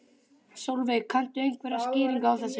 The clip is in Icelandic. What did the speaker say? Sólveig: Kanntu einhverja skýringu á þessu?